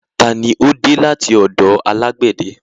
Ta ni ó dé láti ọ̀dọ̀ alágbède?